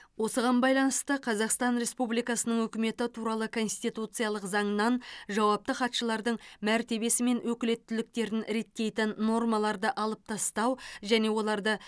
осыған байланысты қазақстан республикасының үкіметі туралы конституциялық заңнан жауапты хатшылардың мәртебесі мен өкілеттіктерін реттейтін нормаларды алып тастау және оларды